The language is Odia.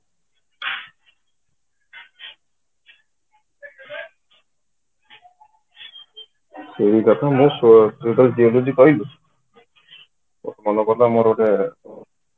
ସେଇ କଥା ମୁଁ